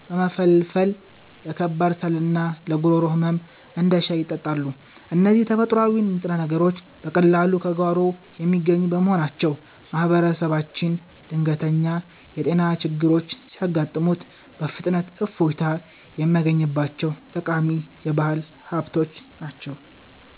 በመፈልፈል ለከባድ ሳልና ለጉሮሮ ህመም እንደ ሻይ ይጠጣሉ። እነዚህ ተፈጥሯዊ ንጥረ ነገሮች በቀላሉ ከጓሮ የሚገኙ በመሆናቸው፣ ማህበረሰባችን ድንገተኛ የጤና ችግሮች ሲያጋጥሙት በፍጥነት እፎይታ የሚያገኝባቸው ጠቃሚ የባህል ሀብቶች ናቸው።